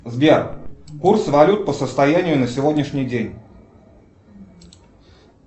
сбер курс валют по состоянию на сегодняшний день